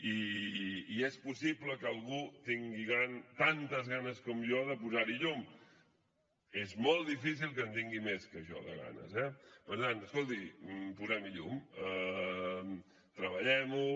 i és possible que algú tingui tantes ganes com jo de posar hi llum és molt difícil que en tingui més que jo de ganes eh per tant escolti posem hi llum treballem ho